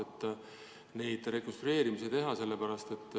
Nii saaks neid rekonstrueerimisi teha.